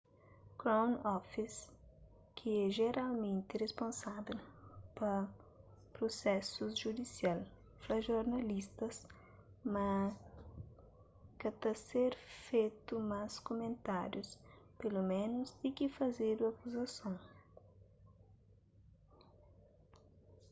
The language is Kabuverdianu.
crown office ki é jeralmenti risponsável pa prusésus judisial fla jornalistas ma ka ta ser fetu más kumentárius peloménus ti ki fazedu akuzason